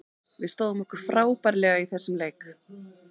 Við stóðum okkur frábærlega í þessum leik.